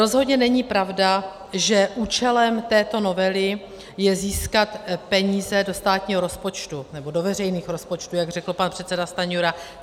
Rozhodně není pravda, že účelem této novely je získat peníze do státního rozpočtu, nebo do veřejných rozpočtů, jak řekl pan předseda Stanjura.